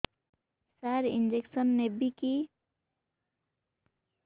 ସାର injection ନେବିକି